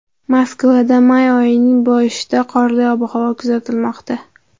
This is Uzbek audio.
Moskvada may oyining boshida qorli ob-havo kuzatilmoqda.